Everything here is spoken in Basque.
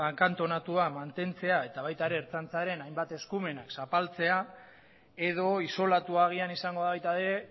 akantonatua mantentzea eta baita ere ertzaintzaren hainbat eskumen zapaltzea edo isolatua agian izango da baita ere